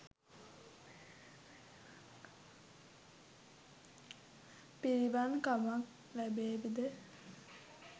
පිළිවන් කමක් ලැබේවි ද?